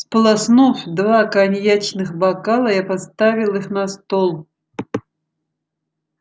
сполоснув два коньячных бокала я поставил их на стол